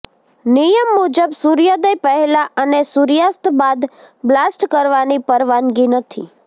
નિયમ મુજબ સૂર્યોદય પહેલાં અને સૂર્યાસ્ત બાદ બ્લાસ્ટ કરવાની પરવાનગી નથી